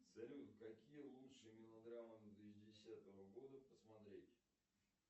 салют какие лучшие мелодрамы две тысячи десятого года посмотреть